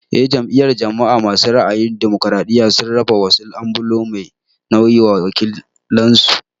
En jam'iyyar jama'a masu ra'ayin damokiraɗiya sun raba wasu ambulo mai nauyi wa wakilan su.